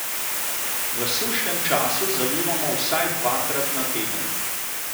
V sušnem času zalivamo vsaj dvakrat na teden.